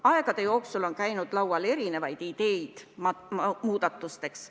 Aegade jooksul on läbi käidud erinevaid ideid muudatusteks.